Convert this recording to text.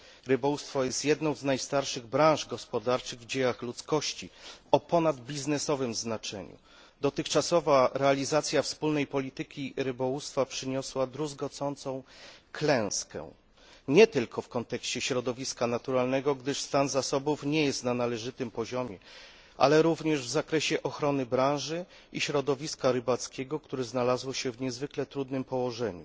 Rybołówstwo jest jedną z najstarszych w dziejach ludzkości branż gospodarczych o ponadbiznesowym znaczeniu. Dotychczasowa realizacja Wspólnej Polityki Rybołówstwa przyniosła druzgocącą klęskę, nie tylko w kontekście środowiska naturalnego, gdyż stan zasobów nie jest na należytym poziomie, ale również w zakresie ochrony branży i środowiska rybackiego, które znalazło się w niezwykle trudnym położeniu.